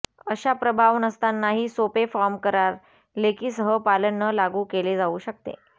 अशा प्रभाव नसतानाही सोपे फॉर्म करार लेखी सह पालन न लागू केले जाऊ शकते